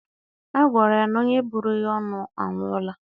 A gwara ya na onye bụrụ ya ọnụ anwụọla.